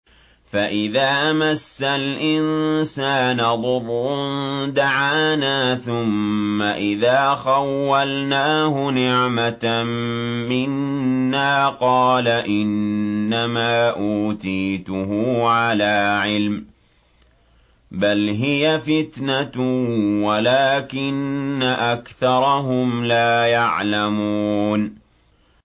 فَإِذَا مَسَّ الْإِنسَانَ ضُرٌّ دَعَانَا ثُمَّ إِذَا خَوَّلْنَاهُ نِعْمَةً مِّنَّا قَالَ إِنَّمَا أُوتِيتُهُ عَلَىٰ عِلْمٍ ۚ بَلْ هِيَ فِتْنَةٌ وَلَٰكِنَّ أَكْثَرَهُمْ لَا يَعْلَمُونَ